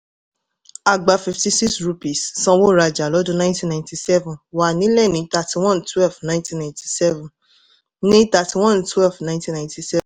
a gba fifty-six rupees sanwó-rajá lọ́dún nineteen ninety-seven wà nílẹ̀ ní thirty-one twelve nineteen ninety-seven ní thirty-one twelve nineteen ninety